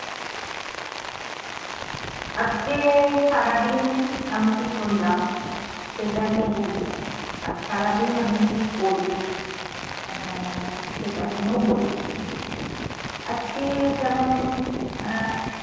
আজকে সারাদিন আমি কী করলাম, সেটা নিয়ে বলবো, আর সারাদিন আমি কী করি আহ সেটা নিয়েও বলবো। আজকে যেমন আহ